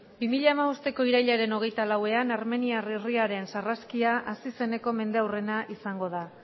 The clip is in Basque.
bi mila hamabost irailaren hogeita lauean armeniar herriaren sarraskia hasi zeneko mendeurrena izango da